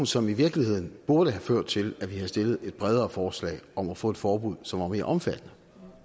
som i virkeligheden burde have ført til at vi havde stillet et bredere forslag om at få et forbud som var mere omfattende